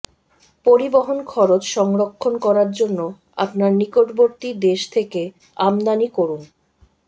পরিবহন খরচ সংরক্ষণ করার জন্য আপনার নিকটবর্তী দেশ থেকে আমদানি করুন